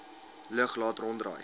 lug laat ronddraai